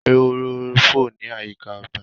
ehoro fọ ní àyíká ọgbà.